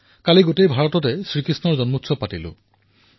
কালি সমগ্ৰ হিন্দুস্তানত শ্ৰী কৃষ্ণৰ জন্মমহোৎসৱ পালন কৰা হল